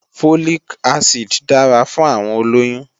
Folic acid dára fún àwọn olóyún